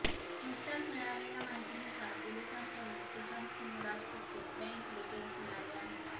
नुकत्याच मिळालेल्या माहितीनुसार पोलिसांसमोर सुशांत सिंह राजपूतचे बँक डिटेल्स मिळाले आहेत